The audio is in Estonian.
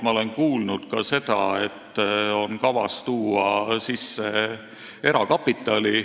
Ma olen kuulnud ka seda, et on kavas tuua sisse erakapitali.